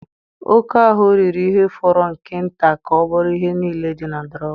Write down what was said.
Oke ahụ riri ihe fọrọ nke nta ka ọ bụrụ ihe niile dị na drawer.